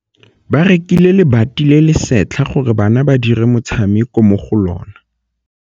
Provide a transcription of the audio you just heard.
Ba rekile lebati le le setlha gore bana ba dire motshameko mo go lona.